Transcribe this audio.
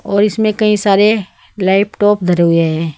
और इसमें कई सारे लेपटॉप धरे हुए है।